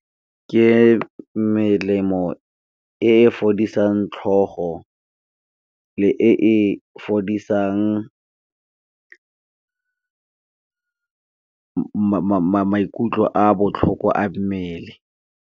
Ke melemo e fodisang tlhogo, le e fodisang maikutlo a botlhoko a mmele.